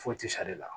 Foyi tɛ sa ale la